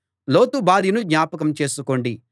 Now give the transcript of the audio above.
లోతు భార్యను జ్ఞాపకం చేసుకోండి